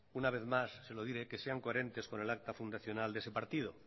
una vez más se lo diré que sean coherentes con el acta fundacional de ese partido